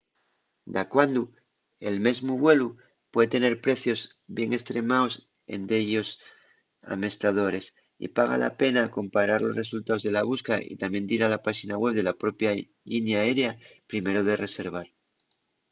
dacuando el mesmu vuelu pue tener precios bien estremaos en dellos amestadores y paga la pena comparar los resultaos de la busca y tamién dir a la páxina web de la propia llinia aérea primero de reservar